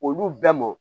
Olu bɛɛ mɔ